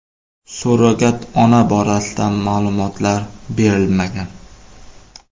Surrogat ona borasida ma’lumotlar berilmagan.